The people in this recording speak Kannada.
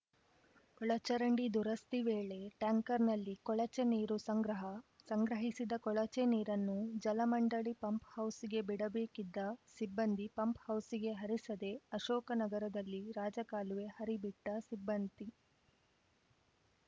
ಒಳಚರಂಡಿ ದುರಸ್ತಿ ವೇಳೆ ಟ್ಯಾಂಕರ್‌ನಲ್ಲಿ ಕೊಳಚೆ ನೀರು ಸಂಗ್ರಹ ಸಂಗ್ರಹಿಸಿದ ಕೊಳಚೆ ನೀರನ್ನು ಜಲಮಂಡಳಿ ಪಂಪ್‌ಹೌಸ್‌ಗೆ ಬಿಡಬೇಕಿದ್ದ ಸಿಬ್ಬಂದಿ ಪಂಪ್‌ಹೌಸ್‌ಗೆ ಹರಿಸದೆ ಅಶೋಕನಗರದಲ್ಲಿ ರಾಜಕಾಲುವೆ ಹರಿಬಿಟ್ಟಸಿಬ್ಬಂದಿ